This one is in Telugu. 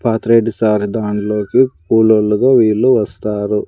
పాత రెడ్డి సార్ దానిలోకి కూల్లోలుగా వీళ్ళు వస్తారు.